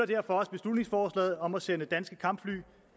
derfor også beslutningsforslaget om at sende danske kampfly